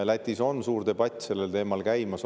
Lätis on suur debatt sellel teemal käimas.